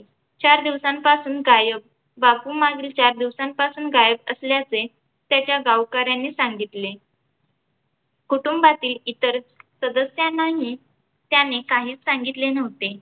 चार दिवसांपासून गायब बापू मागील चार दिवसांपासून गायब असल्याचे त्याच्या गावकऱ्यांनी सांगितले. कुटूंबातील इतर सदस्यांनाही त्याने काहीच सांगितले नव्हते.